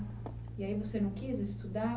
E aí você não quis estudar?